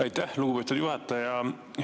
Aitäh, lugupeetud juhataja!